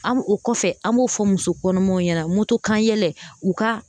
An o kɔfɛ an b'o fɔ muso kɔnɔmaw ɲɛna motokanyɛlɛ u ka